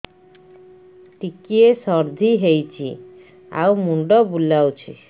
ଟିକିଏ ସର୍ଦ୍ଦି ହେଇଚି ଆଉ ମୁଣ୍ଡ ବୁଲାଉଛି